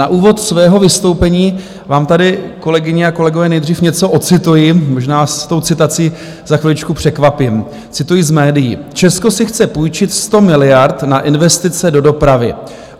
Na úvod svého vystoupení vám tady, kolegyně a kolegové, nejdřív něco ocituji, možná s tou citací za chviličku překvapím, cituji z médií: "Česko si chce půjčit 100 miliard na investice do dopravy.